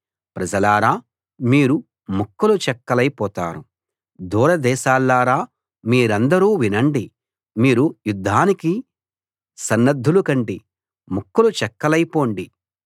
ప్రజలారా మీరు ముక్కలు చెక్కలై పోతారు దూరదేశాల్లారా మీరందరూ వినండి మీరు యుద్ధానికి సన్నద్ధులు కండి ముక్కలు చెక్కలైపొండి యుద్ధానికి సన్నద్ధులు కండి ముక్కలు చెక్కలై పొండి